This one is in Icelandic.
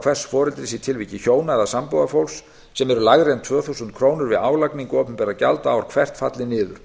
hvors foreldris í tilviki hjóna eða sambúðarfólks sem eru lægri en tvö þúsund krónur við álagningu opinberra gjalda ár hvert falli niður